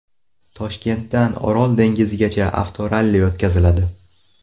Toshkentdan Orol dengizigacha avtoralli o‘tkaziladi.